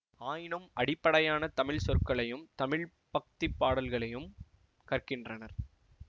ஆயினும் அடிப்படையான தமிழ் சொற்களையும் தமிழ் பக்தி பாடல்களையும் கற்கின்றனர்